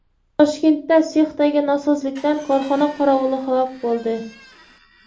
Toshkentda sexdagi nosozlikdan korxona qorovuli halok bo‘ldi.